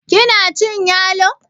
kina cin yalo?